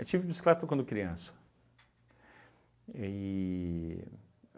Eu tive bicicleta quando criança. E